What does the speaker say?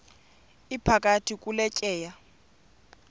iphakathi kule tyeya